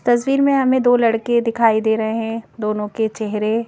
तस्वीर में हमें दो लड़के दिखाई दे रहे हैं दोनों के चेहरे--